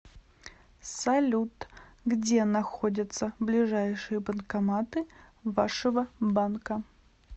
салют где находятся ближайшие банкоматы вашего банка